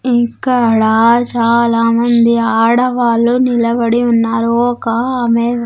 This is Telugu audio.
ఇక్కడ చాలామంది ఆడవాళ్ళు నిలబడి ఉన్నారు ఒక్క ఆమె.